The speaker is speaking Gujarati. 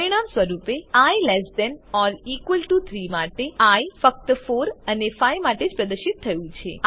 પરિણામ સ્વરૂપે I less than or equal to 3 માટે આઇ ફક્ત 4 અને 5 માટે જ પ્રદર્શીત થયું છે